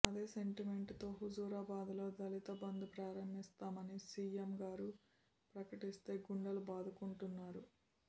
అదే సెంటిమెంట్ తో హుజూరాబాద్ లో దళిత బంధు ప్రారంభిస్తామని సీఎంగారు ప్రకటిస్తే గుండెలు బాదుకుంటున్నారు